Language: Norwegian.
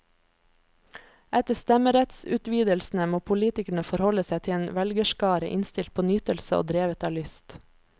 Etter stemmerettsutvidelsene må politikerne forholde seg til en velgerskare innstilt på nytelse og drevet av lyst.